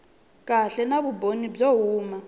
kahle na vumbhoni byo huma